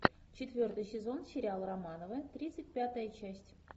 четвертый сезон сериал романовы тридцать пятая часть